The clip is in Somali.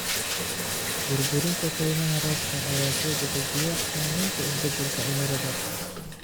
Burburinta kaymaha roobka ayaa soo dedejiya saamaynta isbeddelka cimilada.